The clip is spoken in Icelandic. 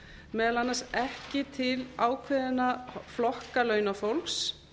meðal annars ekki til ákveðinna flokka launafólks